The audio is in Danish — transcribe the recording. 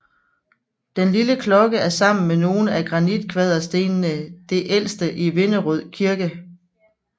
Den lille klokke er sammen med nogle af granitkvaderstenene det ældste i Vinderød Kirke